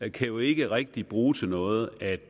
jo ikke rigtig bruge til noget at